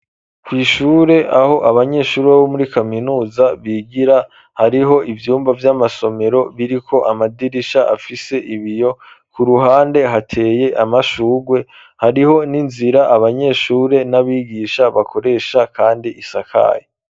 Kw'ishure, aho abanyeshure, bo muri kaminuza, bigira; hariho ivyumba vy'amasomero, biriko amadirisha, afise ibiyo; ku ruhande, hateye amashurwe, hariho n'inzira, abanyeshure, n'abigisha bakoresha, kandi isakaye.